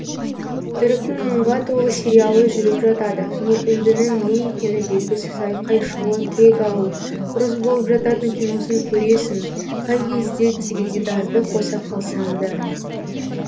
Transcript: түріктің мұңға толы сериалы жүріп жатады не үндінің не екені белгісіз айқай шулы кек алу ұрыс болып жататын киносын көресің қай кезде теледидарды қоса қалсаң да